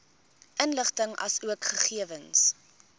inligting asook gegewens